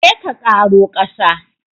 Je ka ƙaro ƙasa!